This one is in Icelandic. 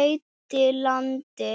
eyddi landi.